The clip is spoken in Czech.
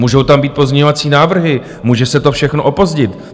Můžou tam být pozměňovací návrhy, může se to všechno opozdit.